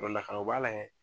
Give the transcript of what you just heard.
o b'a layɛ